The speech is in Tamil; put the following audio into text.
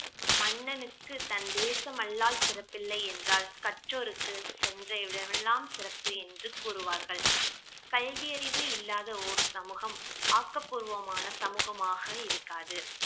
மன்னனுக்கு தன் தேசம் அல்லால் சிறப்பில்லை என்றால் கற்றோருக்கு சென்ற இடமெல்லாம் சிறப்பு என்று கூறுவார்கள் கல்வி அறிவு இல்லாத ஓர் சமூகம் ஆக்கபூர்வமான சமூகமாக இருக்காது